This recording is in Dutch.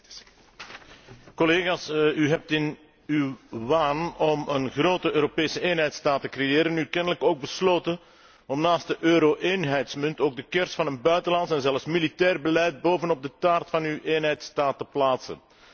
Voorzitter, collega's, u hebt in uw waan om een grote Europese eenheidsstaat te creëren, nu kennelijk ook besloten om naast de euro eenheidsmunt ook de kers van een buitenlands en zelfs militair beleid bovenop de taart van uw eenheidsstaat te plaatsen.